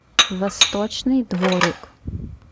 восточный дворик